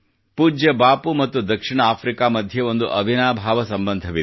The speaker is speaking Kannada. ಪೂಜ್ಯ ಬಾಪೂ ಮತ್ತು ದಕ್ಷಿಣ ಆಫ್ರಿಕಾ ಮಧ್ಯೆ ಒಂದು ಅವಿನಾಭಾವ ಸಂಬಂಧವಿದೆ